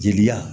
Jeliya